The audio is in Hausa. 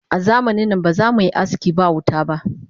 Azamanin nan ba zamuyi aski ba wuta ba